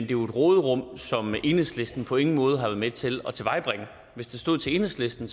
jo et råderum som enhedslisten på ingen måde har været med til at tilvejebringe hvis det stod til enhedslisten